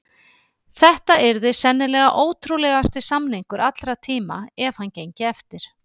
Þetta yrði sennilega ótrúlegasti samningur allra tíma ef hann gengi eftir.